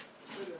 Gəl bura.